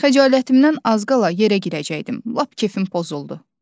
Xəcalətimdən az qala yerə girəcəkdim, lap kefim pozuldu.